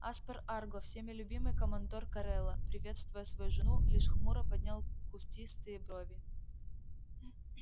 аспер арго всеми любимый командор корела приветствуя свою жену лишь хмуро поднял кустистые брови